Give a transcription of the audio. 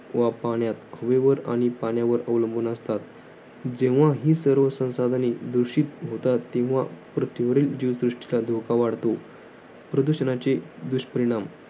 वा पाण्यात. हवेवर आणि पाण्यावर अवलंबून असतात. जेव्हा ही संसाधने दुषित होतात. तेव्हा पृथ्वीवरील जीवसृष्टीचा धोका वाढतो. प्रदूषणाचे दुष्परिणाम.